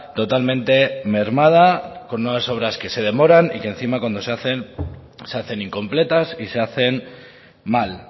totalmente mermada con unas obras que se demoran y que encima cuando se hacen se hacen incompletas y se hacen mal